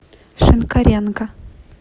шинкаренко